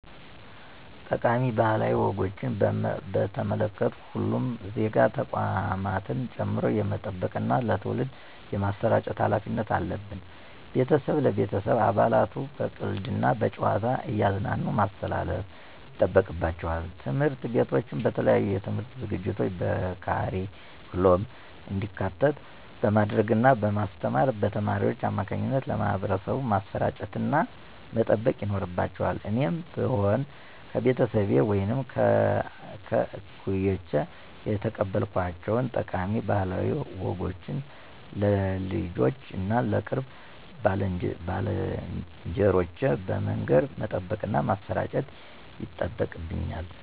ጠቃሚ ባህላዊ ወጎችን በተመለከቱ ሁሉም ዜጋ ተቋማትን ጨምሮ የመጠበቅና ለትውልድ የማሰራጨት ሀላፊነት አለብን። ቤተሰብ ለቤተሰብ አባላቱ በቀልድ እና በጨዋታ እያዝናኑ ማስተላለፍ ይጠበቅባቸዋል። ትምህርት ቤቶችም በተለያዩ የትምህርት ዝግጅቶች በካሪኩለም እንዲካተት በማድረግ እና በማስተማር በተማሪዎች አማካኝነት ለማህበረሰቡ ማሰራጨትና መጠበቅ ይኖርባቸዋል እኔም ብሆን ከቤተሰቤ ወይም ከእኩዮቼ የተቀበልኳቸውን ጠቃሚ ባህላዊ ወጎችን ለልጆቼ እና ለቅርብ ባልንጀሮቼ በመንገር መጠበቅና ማሠራጨት ይጠበቅብኛል።